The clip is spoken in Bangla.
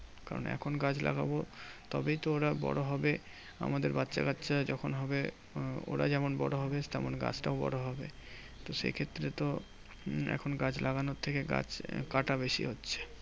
কারণ এখন গাছ লাগাবো তবেই তো ওরা বড় হবে। আমাদের বাচ্চাকাচ্চা যখন হবে, ওরা যেমন বড় হবে তেমন গাছটাও বড় হবে। তো সেইক্ষেত্রে তো উম এখন গাছ লাগানোর থেকে গাছ কাটা বেশি হচ্ছে।